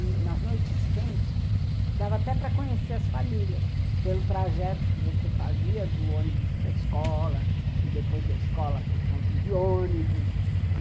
E, nas noites quentes, dava até para conhecer as famílias, pelo trajeto que você fazia do ônibus para a escola, e depois da escola para o ponto de ônibus.